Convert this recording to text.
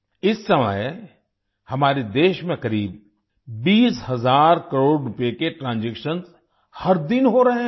इस समय हमारे देश में करीब 20 हज़ार करोड़ रुपए के ट्रांजैक्शंस हर दिन हो रहे हैं